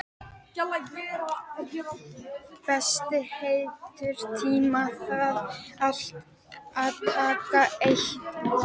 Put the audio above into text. Bessi, einhvern tímann þarf allt að taka enda.